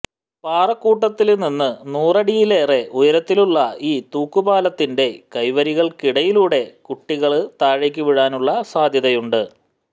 പാറക്കൂട്ടത്തില്നിന്ന് നൂറടിയിലേറെ ഉയരത്തിലുള്ള ഈ തൂക്കുപാലത്തിന്റെ കൈവരികള്ക്കിടയിലൂടെ കുട്ടികള് താഴേക്ക് വീഴാനുള്ള സാധ്യതയുണ്ട്